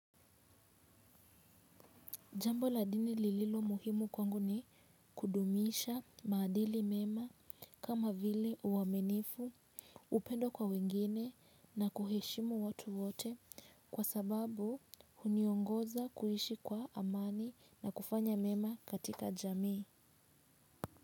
Jambo la dini lililo muhimu kwangu ni kudumisha maadili mema kama vile uaminifu, upendo kwa wengine na kuheshimu watu wote kwa sababu huniongoza kuishi kwa amani na kufanya mema katika jamii.